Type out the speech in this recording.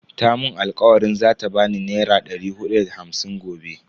Ta mun alkawarin zata bani naira dari hudu da hamsin gobe.